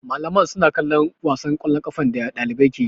Malaman suna kallon wasan ƙwallon kafar da ɗaliban ke yi.